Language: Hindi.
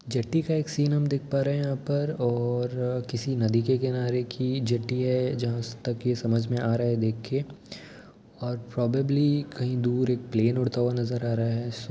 जेट्टी का एक सिन हम देख पा रहे हैं यहाँ पर और किसी नदी के किनारे की जेट्टी है जहाँ तक ये समझ में आ रहा है देख के और प्रोबैब्ली कहीं दूर एक प्लेन उड़ता हुआ नजर आ रहा है।